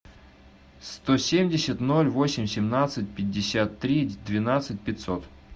сто семьдесят ноль восемь семнадцать пятьдесят три двенадцать пятьсот